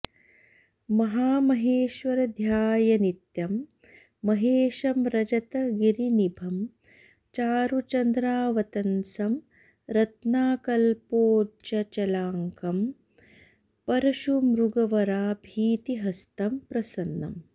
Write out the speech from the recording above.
महामहेश्वर ध्यायेन्नित्यं महेशं रजतगिरिनिभं चारुचन्द्रावतंसं रत्नाकल्पोज्ज्चलाङ्गं परशुमृगवराभीतिहस्तं प्रसन्नम्